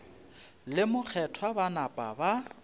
le mokgethwa ba napa ba